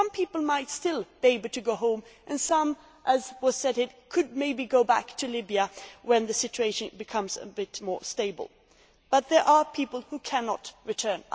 Some people might still be able to go home and some, as was said, could maybe go back to Libya when the situation becomes a bit more stable, but there are people who cannot return.